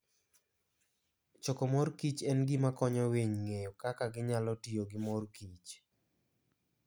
Choko mor kich en gima konyo winy ng'eyo kaka ginyalo tiyo gi mor kich.